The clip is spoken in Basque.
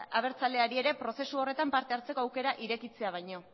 abertzaleari ere prozesu horretan parte hartzeko aukera irekitzea baino